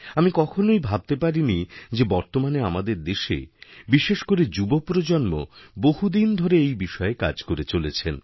আমি কখনও ভাবতেই পারিনি যে বর্তমানে আমাদের দেশে বিশেষ করেযুবপ্রজন্ম বহুদিন ধরে এই বিষয়ে কাজ করে চলেছেন